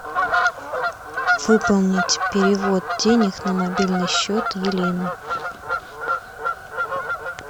выполнить перевод денег на мобильный счет елены